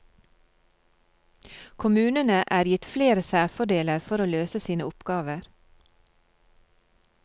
Kommunene er gitt flere særfordeler for å løse sine oppgaver.